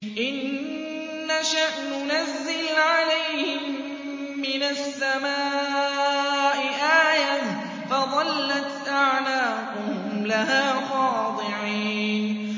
إِن نَّشَأْ نُنَزِّلْ عَلَيْهِم مِّنَ السَّمَاءِ آيَةً فَظَلَّتْ أَعْنَاقُهُمْ لَهَا خَاضِعِينَ